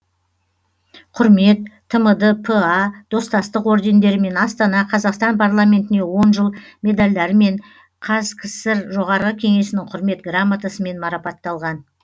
құрмет тмд па достастық ордендерімен астана қазақстан парламентіне он жыл медальдарымен қазкср жоғары кеңесінің құрмет грамотасымен марапатталған